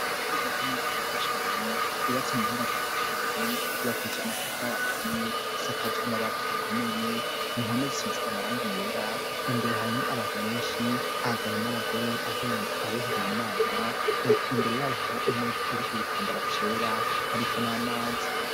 Rigirakamiza gitwa cyane rubatse mu buhinga bwaco cya mbere yubakise amatafari aturiye isakaji amabati akomeye impome zisize amarangi yera imbere harimo abantu benshi ahagabo n'abagore abihebeye imana reka imbere y'abaharo imeza iri ku gitambara cera hariko n'amazi.